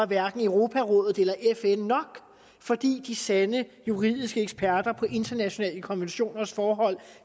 hverken europarådet eller fn nok fordi de sande juridiske eksperter på internationale konventioners forhold